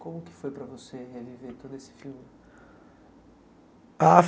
Como que foi para você reviver todo esse filme? Ah